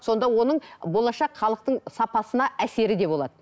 сонда оның болашақ халықтың сапасына әсері де болады